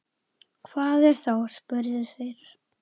Hvað er þá, spurðu þeir.